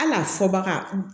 Hali a fɔ baga